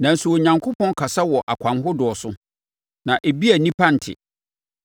Nanso, Onyankopɔn kasa wɔ akwan ahodoɔ so, na ebia nnipa nte.